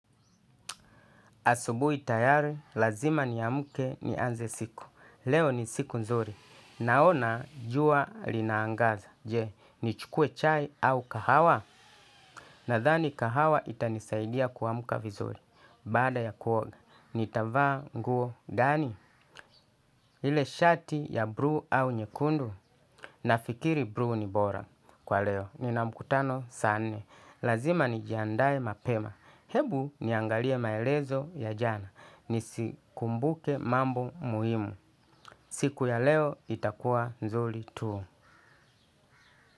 Asubuhi tayari lazima ni amke nianze siku. Leo ni siku nzuri. Naona jua linaangaza. Je, nichukue chai au kahawa. Nadhani kahawa itanisaidia kuamka vizuri. Baada ya kuoga, nitavaa nguo ndani. Ile shati ya buluu au nyekundu. Nafikiri buluu ni bora. Kwa leo. Nina mkutano saa nne. Lazima nijiandae mapema. Hebu niangalie maelezo ya jana. Nisikumbuke mambo muhimu. Siku ya leo itakuwa nzuri tu.